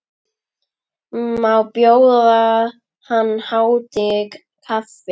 Má bjóða hans hátign kaffi?